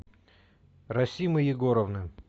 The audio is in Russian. расимы егоровны